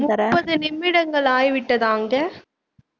முப்பது நிமிடங்கள் ஆகிவிட்டதா அங்க